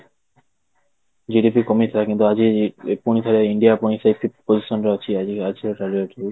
GDP କମିଥିଲା କିନ୍ତୁ ଆଜି ପୁଣି ଥରେ ଇଣ୍ଡିଆ ପୁଣି ସେଇ fifth position ରେ ଅଛି ଆଜିର